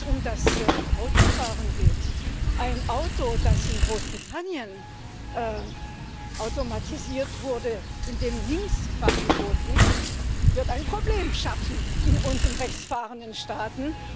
Wenn es um das Autofahren geht ein Auto, das in Großbritannien automatisiert wurde, wo Linksfahrgebot ist, wird ein Problem schaffen in unseren rechtsfahrenden Staaten.